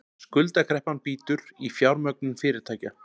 Skuldakreppan bítur í fjármögnun fyrirtækja